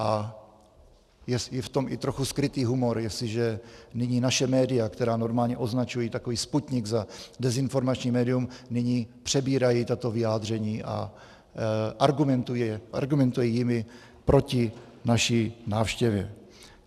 A je v tom i trochu skrytý humor, jestliže nyní naše média, která normálně označují takový Sputnik za dezinformační médium, nyní přebírají tato vyjádření a argumentují jimi proti naší návštěvě.